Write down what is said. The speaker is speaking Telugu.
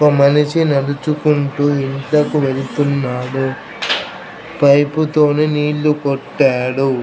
ఒ మనిషి నడుచుకుంటూ ఇంట్లకు వెళ్తున్నాడు పైప్ తోని నీళ్లు కొట్టాడు.